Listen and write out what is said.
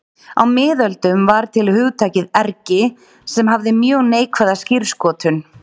Á miðöldum var til hugtakið ergi sem hafði mjög neikvæða skírskotun.